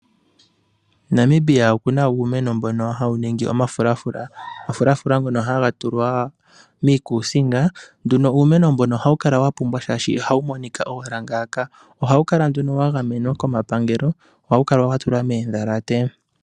Namibia okuna uumeno mbono hawu ningi omafulafula. Omafulafula ngono haga tulwa miikuusinga. Uumeno mbuno ohawu kala wapumba oshoka ihawu monika ngaaka. Ohawu kala wagamenwa komapangelo, ohawu kala watulwa moondhalate.